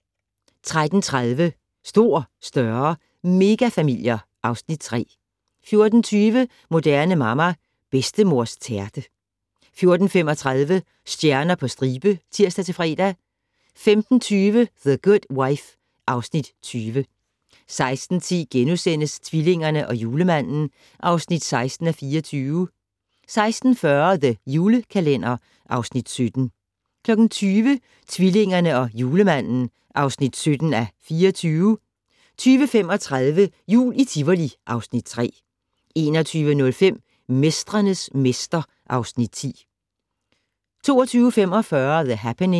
13:30: Stor, større - megafamilier (Afs. 3) 14:20: Moderne Mamma - Bedstemors tærte 14:35: Stjerner på stribe (tir-fre) 15:20: The Good Wife (Afs. 20) 16:10: Tvillingerne og Julemanden (16:24)* 16:40: The Julekalender (Afs. 17) 20:00: Tvillingerne og Julemanden (17:24) 20:35: Jul i Tivoli (Afs. 3) 21:05: Mestrenes mester (Afs. 10) 22:45: The Happening